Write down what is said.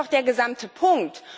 Das ist doch der gesamte Punkt!